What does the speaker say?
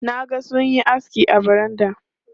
Na ga suna yin aski a baranda.